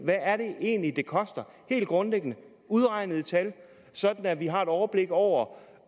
egentlig er det koster helt grundlæggende udregnet i tal sådan at vi har et overblik over